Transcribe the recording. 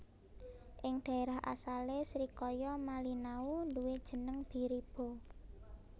Ing dhaérah asalé srikaya malinau nduwé jeneng Biriba